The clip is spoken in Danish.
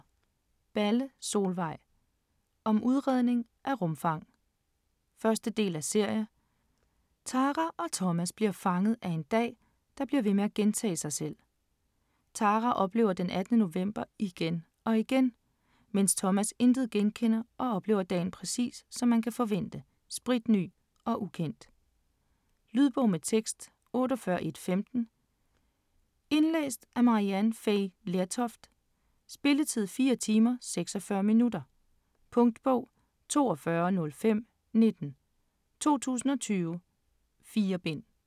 Balle, Solvej: Om udregning af rumfang 1. del af serie. Tara og Thomas bliver fanget af en dag der bliver ved med at gentage sig selv. Tara oplever den 18. november igen og igen, mens Thomas intet genkender og oplever dagen, præcis som man kan forvente, spritny og ukendt. Lydbog med tekst 48115 Indlæst af Maryann Fay Lertoft Spilletid: 4 timer, 46 minutter. Punktbog 420519 2020. 4 bind.